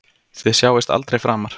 Þið sjáist aldrei framar.